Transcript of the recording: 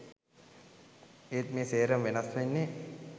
ඒත් මේ සේරම වෙනස් වෙන්නේ